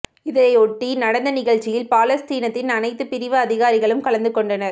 இதையொட்டி நடந்த நிகழ்ச்சியில் பாலஸ்தீனத்தின் அனைத்து பிரிவு அதிகாரிகளும் கலந்து கொண்டனர்